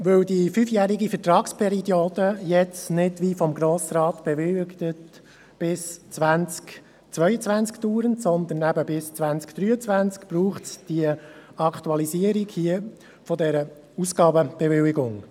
Weil die fünfjährige Vertragsperiode jetzt nicht wie vom Grossen Rat bewilligt bis 2022 dauert, sondern bis 2023, braucht es eine Aktualisierung dieser Ausgabenbewilligung.